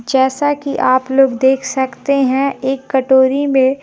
जैसा कि आप लोग देख सकते हैं एक कटोरी में--